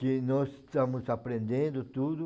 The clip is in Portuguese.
que nós estamos aprendendo tudo.